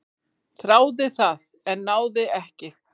"""Þráði það, en náði ekki."""